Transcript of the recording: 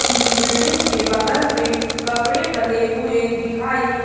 building के बगल पे कपड़े डले हुए दिखाई--